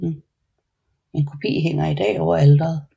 En kopi hænger i dag over alteret